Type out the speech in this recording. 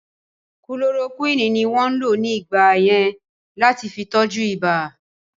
Kulorokúwínì ní wọ́n lò ní ìgbà yẹn láti fi tọ́jú ìbà